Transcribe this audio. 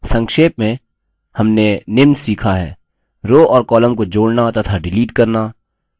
संक्षेप में हमने निम्न सीखा हैः rows और columns को जोड़ना to डिलीट करना